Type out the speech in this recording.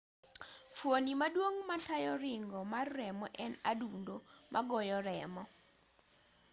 fuoni maduong' matayo ringo mar remo en adundo magoyo remo